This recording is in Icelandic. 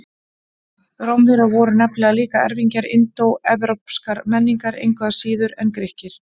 Rómverjar voru nefnilega líka erfingjar indóevrópskrar menningar, engu síður en Grikkir.